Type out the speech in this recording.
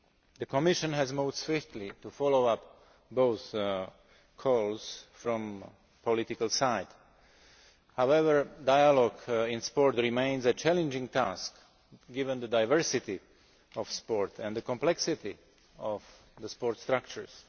The Commission has moved swiftly to follow up both calls from the political side. However, dialogue in sport remains a challenging task, given the diversity of sport and the complexity of the sport structures.